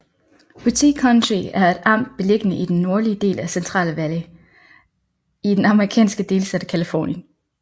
Butte County er et amt beliggende i den nordlige del af Central Valley i den amerikanske delstat Californien